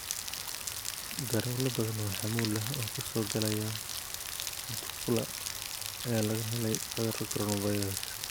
Darawallo badan oo xamuul ah oo ka soo galaya Mutukula ayaa laga helay cudurka 'coronavirus'.